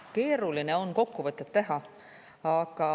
Keeruline on kokkuvõtet teha.